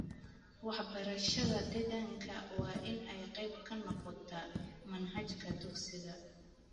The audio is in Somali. Waxbarashada deegaanka waa in ay qayb ka noqotaa manhajka dugsiga.